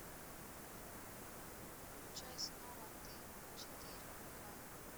включай снова ты четыре ка